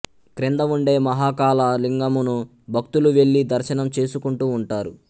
క్రింద ఉండే మహాకాళ లింగమును భక్తులు వెళ్లి దర్శనం చేసుకుంటూ ఉంటారు